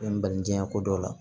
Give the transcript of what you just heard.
N balijiya ko dɔ la